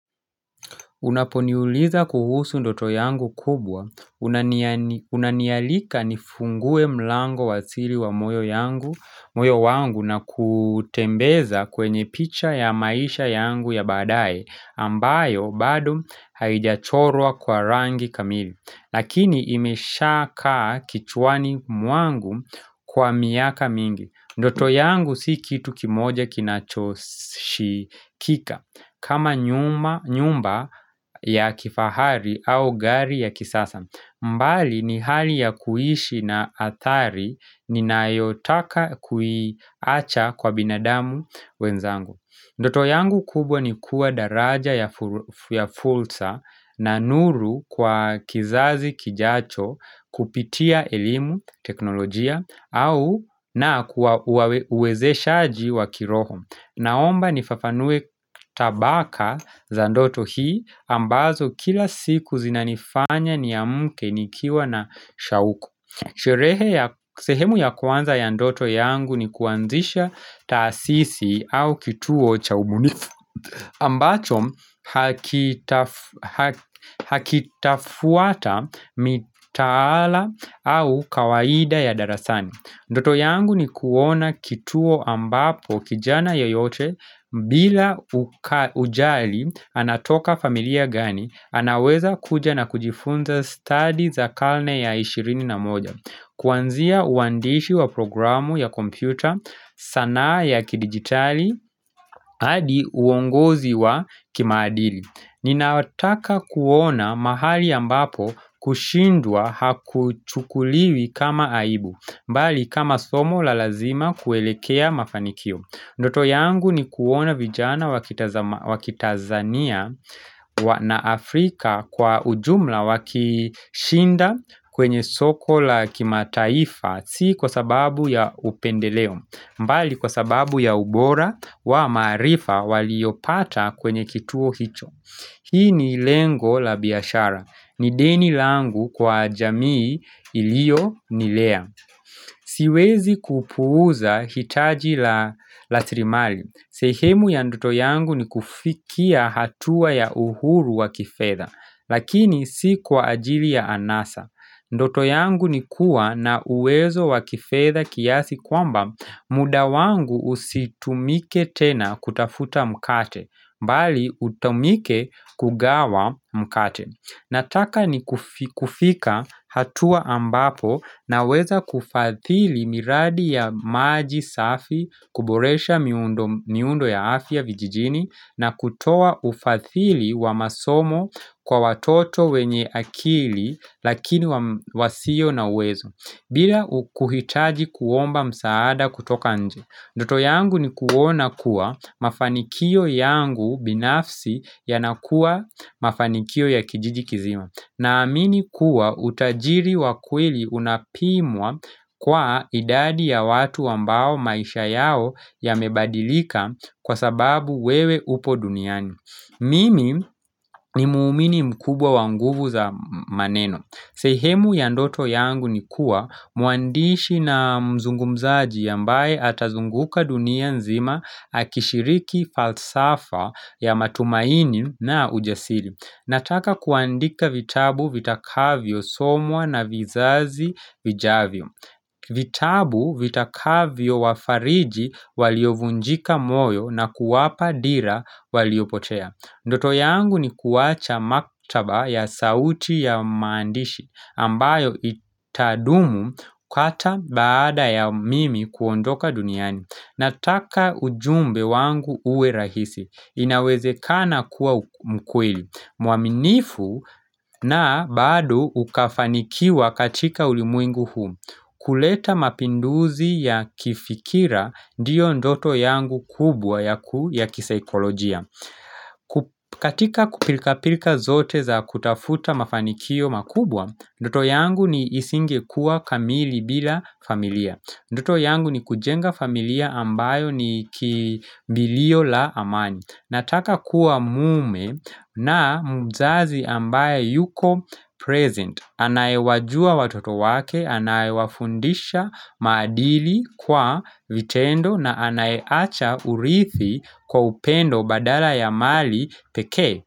Unaponiuliza kuhusu ndoto yangu kubwa, unanialika nifungue mlango wasiri wa moyo wangu na kutembeza kwenye picha ya maisha yangu ya badae ambayo bado haijachorwa kwa rangi kamili. Lakini imesha kaa kichwani mwangu kwa miaka mingi Ndoto yangu si kitu kimoja kinachoshikika kama nyumba ya kifahari au gari ya kisasa mbali ni hali ya kuhishi na hatari ni nayotaka kuiacha kwa binadamu wenzangu Ndoto yangu kubwa ni kuwa daraja ya fulsa na nuru kwa kizazi kijacho kupitia elimu, teknolojia, au na kuwa uwezeshaji wa kiroho Naomba nifafanue tabaka za ndoto hii ambazo kila siku zinanifanya ni amuke nikiwa na shauko Sherehe ya sehemu ya kwanza ya ndoto yangu ni kuanzisha tasisi au kituo cha ubunifu ambacho hakitafuata mitaala au kawaida ya darasani Ndoto yangu ni kuona kituo ambapo kijana ya yote bila kujali anatoka familia gani anaweza kuja na kujifunza study za karne ya ishirini na moja Kuanzia uandishi wa programu ya kompyuta, sanaa ya kidigitali, hadi uongozi wa kimaadili Ninataka kuona mahali ambapo kushindwa hakuchukuliwi kama aibu, mbali kama somo la lazima kuelekea mafanikio Ndoto yangu ni kuona vijana wakitanzania na Afrika kwa ujumla wakishinda kwenye soko la kimataifa, si kwa sababu ya upendeleo, mbali kwa sababu ya ubora wa maarifa waliopata kwenye kituo hicho. Hii ni lengo la biashara. Ni deni langu kwa jamii ilio nilea. Siwezi kuupuza hitaji la rasirimali. Sehemu ya ndoto yangu ni kufikia hatua ya uhuru wa kifedha. Lakini si kwa ajili ya anasa. Ndoto yangu ni kuwa na uwezo wakifedha kiasi kwamba mudawangu usitumike tena kutafuta mkate, mbali utumike kugawa mkate. Nataka ni kufika hatua ambapo na weza kufadhili miradi ya maji safi kuboresha miundo ya afi ya vijijini na kutoa ufadhili wa masomo kwa watoto wenye akili lakini wasio na uwezo. Bila kuhitaji kuomba msaada kutoka nje. Ndoto yangu ni kuona kuwa mafanikio yangu binafsi yanakuwa mafanikio ya kijiji kizima. Na amini kuwa utajiri wa kweli unapimwa kwa idadi ya watu ambao maisha yao ya mebadilika kwa sababu wewe upo duniani. Mimi ni muhumini mkubwa wanguvu za maneno. Sehemu ya ndoto yangu ni kuwa muandishi na mzungumzaji ambaye atazunguka dunia nzima akishiriki falsafa ya matumaini na ujasiri. Nataka kuandika vitabu vitakavyo somwa na vizazi vijavyo. Vitabu vitakavyo wafariji waliovunjika moyo na kuwapa dira walio potea. Ndoto yangu ni kuwacha maktaba ya sauti ya maandishi ambayo itadumu hata baada ya mimi kuondoka duniani nataka ujumbe wangu uwe rahisi inaweze kana kuwa mkweli muaminifu na bado ukafanikiwa katika ulimwengu huu kuleta mapinduzi ya kifikira ndiyo ndoto yangu kubwa ya kisikolojia katika kupilka pilka zote za kutafuta mafanikio makubwa Ndoto yangu isingekuwa kamili bila familia Ndoto yangu ni kujenga familia ambayo ni kimbilio la amani Nataka kuwa mume na mzazi ambaye yuko present Anayewajua watoto wake, anayewafundisha maadili kwa vitendo na anayeacha uridhi kwa upendo badala ya mali peke.